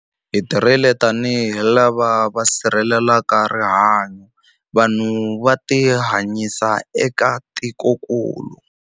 Hi tirhile tanihi lava va sirhelelaka rihanyu, vanhu na vutihanyisi eka tikokulu.